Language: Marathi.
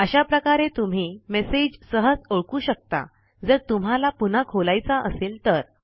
अशा प्रकारे तुम्ही मेसेज सहज ओळखू शकता जर तुम्हाला पुन्हा खोलायचा असेल तर